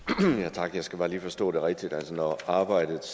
tak jeg skal bare lige forstå det rigtigt når arbejdet